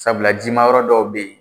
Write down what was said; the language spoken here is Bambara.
Sabula jima yɔrɔ dɔw bɛ ye